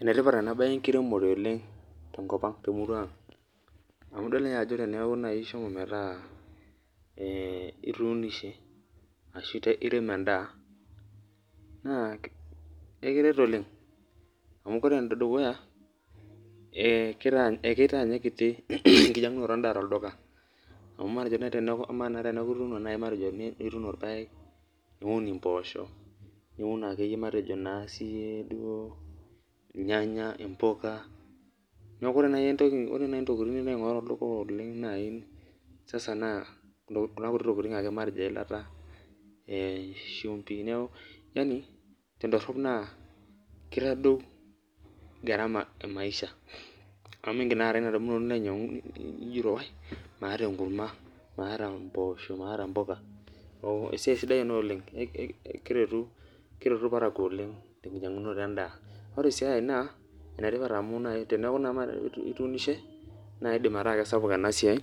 Enetipat enabe enkiremore oleng tenkopang, temurua aang amu idol ajo tenilonai ishomo metaa ituunishe ashubirem endaa na ekiteret oleng amu ore enedukuya akitaa Nye kiti enkinyangunoto endaa tolduka amu matejo naj teneaku ituuni irpaek niun impoosho niun akeyie matejo akeyie irnyanya, mpuka, neaku ore nai ntokitin nilobaingoru tolduka na matejo nai kuna kuti tolitin ake matejo eilata shumbi, yani tendorop naa kitadou garama emaisha amu mingil aata inadunoto nilo ajo maata enkurma maata mpoosho maata mpuka, esiai sidai ena oleng amu kereru irparakuo oleng tenkinyangunoto endaa neaku nai teneaku nai ituunishe na kidim ataa kesapuk enasiai